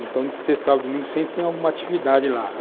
Então, de sexta a sábado e domingo sempre tem alguma atividade lá.